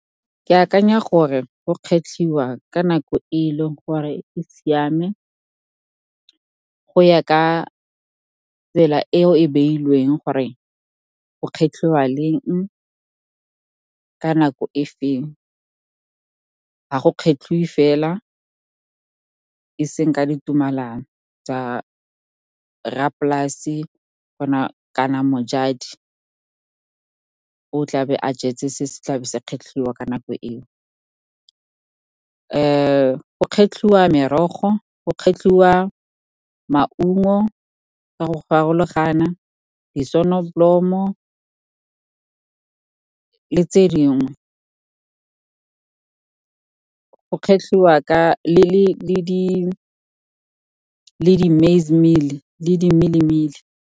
Ke akanya gore go kgetlhiwa ka nako e e leng gore e siame, go ya ka tsela e e beilweng gore go kgetlhwa leng, ka nako efeng. Ga go kgetlhiwe fela, e seng ka ditumelano tsa rra polase kana mojadi o tlabe a jetse se se tlabe se kgetlhilwe ka nako eo. Go kgetlhiwa merogo, go kgetlhiwa maungo ka go farologana, disonobolomo, le tse dingwe, go kgetlhiwa le di-millie meal.